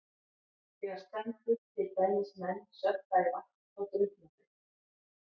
Þegar spendýr, til dæmis menn, sökkva í vatn þá drukkna þau.